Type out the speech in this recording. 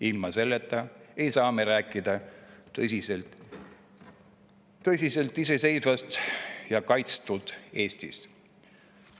Ilma selleta ei saa me tõsiselt rääkida iseseisvast ja kaitstud Eestist.